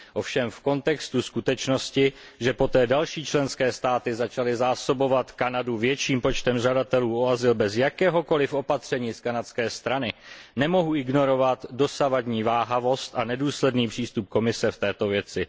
Ovšem v kontextu skutečnosti, že poté další členské státy začaly Kanadu zásobovat větším počtem žadatelů o azyl bez jakéhokoliv opatření z kanadské strany, nemohu ignorovat dosavadní váhavost a nedůsledný přístup Komise v této věci.